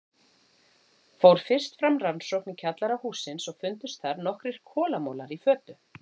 Fór fyrst fram rannsókn í kjallara hússins og fundust þar nokkrir kolamolar í fötu.